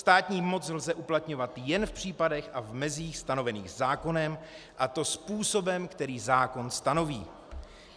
Státní moc lze uplatňovat jen v případech a v mezích stanovených zákonem, a to způsobem, který zákon stanoví.